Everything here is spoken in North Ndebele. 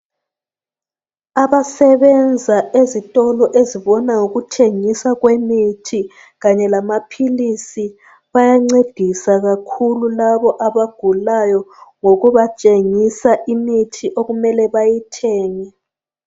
Abasebenza ezitolo ezibona ngokuthengisa kwemithi kanye lamaphilisi bayancedisa kakhulu labo abagulayo ngokubatshengisa imithi okumele bayithenge.